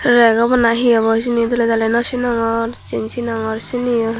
rek awbow na hi awbow dole dale no sinogor jen singor siniyo.